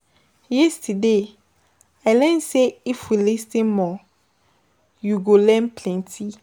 Yesterday, I learn sey if you lis ten more, you go learn plenty.